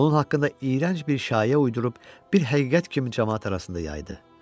Onun haqqında iyrənc bir şayiə uydurub bir həqiqət kimi camaat arasında yaydı.